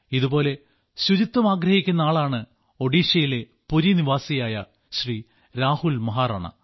ഇതുപോലെ ശുചിത്വമാഗ്രഹിക്കുന്ന ആളാണ് ഒഡീഷയിലെ പുരി നിവാസിയായ ശ്രീ രാഹുൽ മഹാറാണ